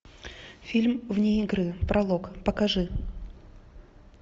фильм вне игры пролог покажи